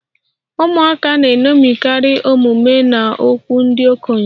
Ụmụaka na-eṅomikarị omume na okwu ndị okenye